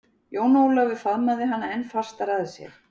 Jón Ólafur faðmaði hana enn fastar að sér.